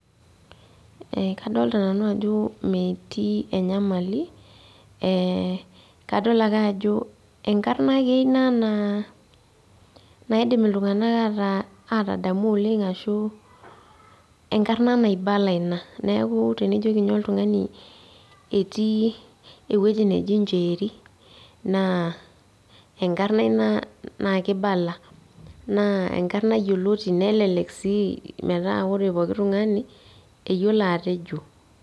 Kadolta nanu ajo metii enyamali, kadol ake ajo enkarna ake ina naa naidim iltung'anak ataa atadamu oleng ashu, enkarna naibala ina. Neeku tenijoki nye oltung'ani etii ewueji neje Njeeri, naa enkarna ina nakibala. Naa enkarna yioloti nelelek si metaa ore pooki tung'ani, eyiolo atejo.